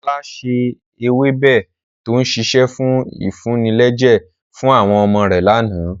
Ọlá ṣe ewébẹ̀ to ń sise fún ìfúnilẹ́jẹ̀ fún àwọn ọmọ rẹ̀ láánaà.